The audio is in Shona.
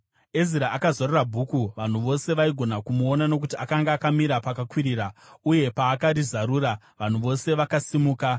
Ezira akazarura bhuku. Vanhu vose vaigona kumuona nokuti akanga akamira pakakwirira; uye paakarizarura, vanhu vose vakasimuka.